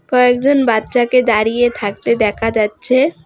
কয়েকজন বাচ্চাকে দাঁড়িয়ে থাকতে দেখা যাচ্ছে।